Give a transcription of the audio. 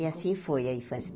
E assim foi a infância.